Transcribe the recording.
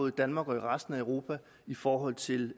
i danmark og i resten af europa i forhold til